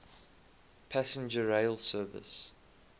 passenger rail service